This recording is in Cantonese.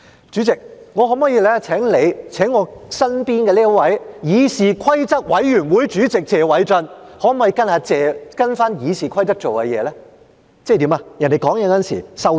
主席，我可否請你請我身旁這位議事規則委員會主席謝偉俊根據《議事規則》做事，即在其他議員發言時收聲？